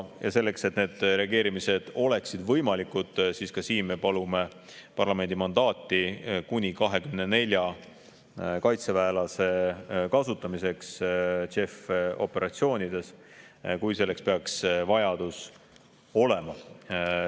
Ja selleks, et need reageerimised oleksid võimalikud, me palume ka siin parlamendi mandaati kuni 24 kaitseväelase kasutamiseks JEF‑i operatsioonides, kui selleks peaks vajadus olema.